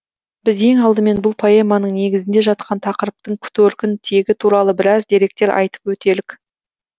біз ең алдымен бұл поэманың негізінде жатқан тақырыптың төркін тегі туралы біраз деректер айтып өтелік